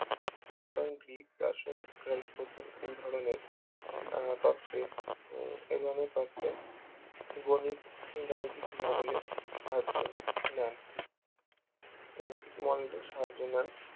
পুরাতান্ত্রিক রাসায়নিক উদাহরণের আহ তত্ত্বের এধরণের তত্ত্বের গণিত এর গাণিতিক model এ সাহায্য নেয় গাণিতিক model এর সাহায্য নেয়